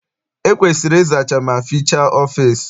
E kwesiri ịzacha ma fichaa ọfịịsi.